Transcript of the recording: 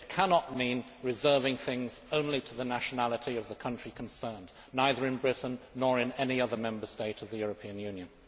It cannot mean reserving things solely to the nationality of the country concerned, either in Britain or in any other Member State of the European Union.